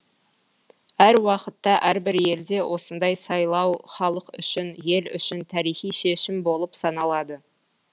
әр уақытта әрбір елде осындай сайлау халық үшін ел үшін тарихи шешім болып саналады